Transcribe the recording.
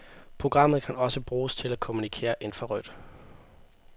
Programmet kan også bruges til at kommunikere infrarødt.